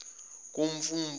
kumfumfu